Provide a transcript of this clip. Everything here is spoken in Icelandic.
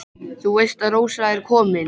Þú veist að Rósa er komin.